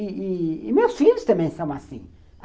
E e meus filhos também são assim.